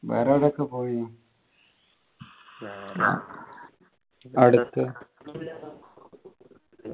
വേറെ ഏതാ trip പോയിനു അടുത്ത